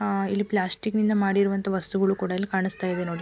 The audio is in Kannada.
ಆ ಇಲ್ಲಿ ಪ್ಲಾಸ್ಟಿಕ್ ನಿಂದ ಮಾಡಿರುವಂತಹ ವಸ್ತುಗಳು ಕೂಡ ಇಲ್ಲಿ ಕಾಣಿಸ್ತಾ ಇವೆ ನೋಡಿ.